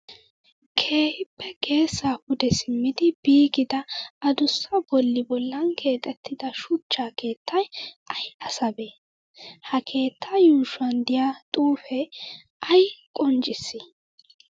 Keehippe geesaa pude simmidi biigida adussa bolli bollan keexettida shuchcha keettayi ayi asabee? Ha keettaa yuushuwan diyaa xuupee ayi qoccissii?